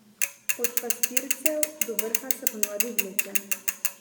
Od Pastircev do vrha se ponavadi vleče.